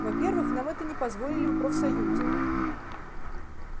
во-первых нам этого не позволили бы профсоюзы